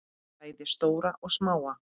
Bæði stóra og smáa.